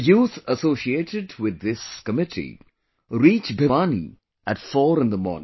The youth associated with this committee reach Bhiwani at 4 in the morning